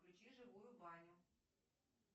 включи живую баню